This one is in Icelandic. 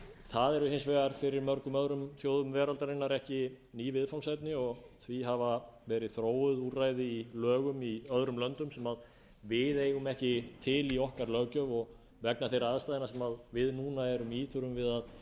það er hins vegar fyrir mörgum öðrum þjóðum veraldarinnar ekki ný viðfangsefni og því hafa verið þróuð úrræði í lögum í öðrum löndum sem við eigum ekki til í okkar löggjöf og vegna þeirra aðstæðna sem við núna erum í þurfum við að